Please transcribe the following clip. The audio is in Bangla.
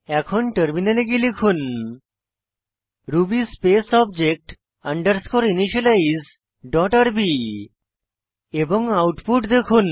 এখন টার্মিনালে গিয়ে লিখুন ruby space object underscore initialize dot RB এবং আউটপুট দেখুন